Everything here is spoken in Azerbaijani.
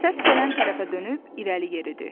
Səs gələn tərəfə dönüb irəli yeridi.